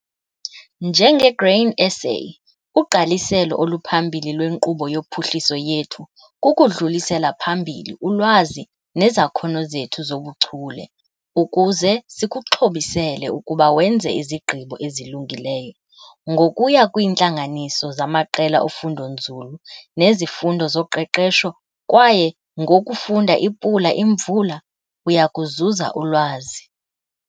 NjengeGrain SA, ugqaliselo oluphambili lwenkqubo yophuhliso yethu kukudlulisela phambili ulwazi nezakhono zethu zobuchule ukuze sikuxhobisele ukuba wenze izigqibo ezilungileyo. Ngokuya kwiintlanganiso zamaqela ofundonzulu nezifundo zoqeqesho, kwaye ngokufunda iPula Imvula, uya kuzuza ulwazi.